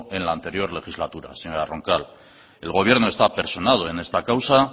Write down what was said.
en la anterior legislatura señora ronca el gobierno está personado en esta causa